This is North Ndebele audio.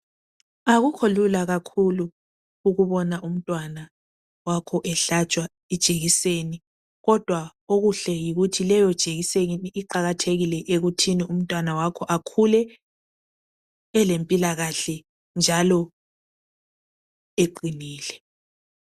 Akukho lula kakhulu ukubona umntwana wakho ehlatshwa ijekiseni. Kodwa okuhle yikuthi leyo jekiseni iqakathekile ekuthini umntwana wakho akhule elempilakahle njalo eqinile.